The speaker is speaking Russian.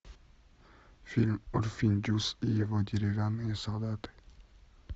фильм урфин джюс и его деревянные солдаты